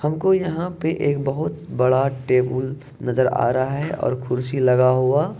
हमको यहाँ पे एक बहुत बड़ा टेबल नज़र आ रहा है और कुर्सी लगा हुआ--